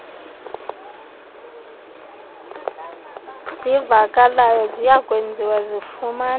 sivakalayo ziyakwenziwa zifumaneke